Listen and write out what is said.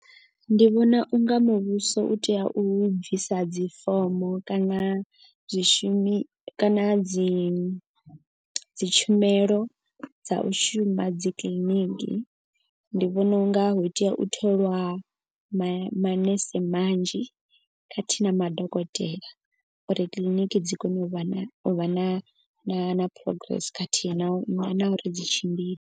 Ndi vhona unga muvhuso u tea u bvisa dzi fomo kana zwi shumi kana dzi dzi tshumelo dza u shuma dzi kiḽiniki. Ndi vhona unga hu tea u tholwa manese manzhi khathihi na madokotela. Uri kiḽiniki dzi kone u vha na u vha na na na progress khathihi na u na uri dzi tshimbile.